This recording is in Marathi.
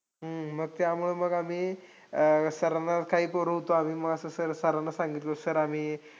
हम्म मग त्यामुळे मग आम्ही, अं sir ना काही पोरं होतो आम्ही. मग असं sir sir ना सांगितलं sir आम्ही,